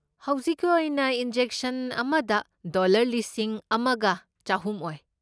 ꯍꯧꯖꯤꯛꯀꯤ ꯑꯣꯏꯅ ꯏꯟꯖꯦꯛꯁꯟ ꯑꯃꯗ ꯗꯣꯂꯔ ꯂꯤꯁꯤꯡ ꯑꯃꯒ ꯆꯍꯨꯝ ꯑꯣꯏ꯫